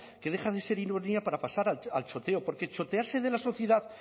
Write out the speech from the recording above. que deja de ser ironía para pasar el choteo porque chotearse de la sociedad